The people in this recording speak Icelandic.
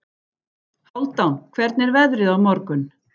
Hálfdan, hvernig er veðrið á morgun?